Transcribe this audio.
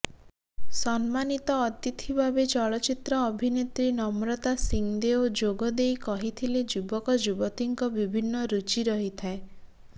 ସମ୍ମାନିତ ଅତିଥି ଭାବେ ଚଳଚ୍ଚିତ୍ର ଅଭିନେତ୍ରୀ ନମ୍ରତା ସିଂଦେଓ ଯୋଗ ଦେଇ କହିଥିଲେ ଯୁବକଯୁବତୀଙ୍କ ବିଭିନ୍ନ ରୁଚି ରହିଥାଏ